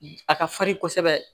A ka farin kosɛbɛ